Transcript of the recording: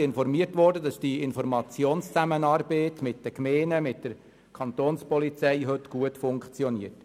Sie wurde darüber informiert, dass die Informationszusammenarbeit der Gemeinden mit der Kapo heute gut funktioniert.